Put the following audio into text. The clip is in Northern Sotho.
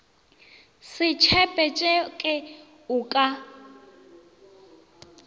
se tshepe tšeke o ka